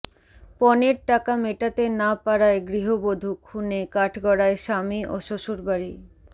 পণের টাকা মেটাতে না পারায় গৃহবধূ খুনে কাঠগড়ায় স্বামী ও শ্বশুরবাড়ি